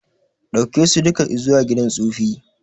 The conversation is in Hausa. Daukeso duka izuwa gidan tsufi